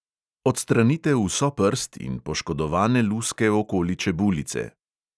Odstranite vso prst in poškodovane luske okoli čebulice.